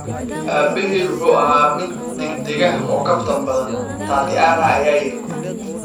"Aabahay wuxuu ahaa mid degdeg ah oo kaftan badan," Tatiana ayaa tiri.